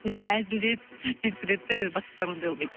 не әзілдеп сөйтіп кетеді де бастықтар ондай болмайды